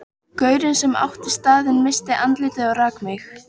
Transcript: Gaurinn sem átti staðinn missti andlitið og rak mig.